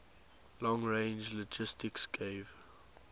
long range linguistics gave